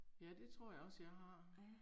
Ja det tror jeg også jeg har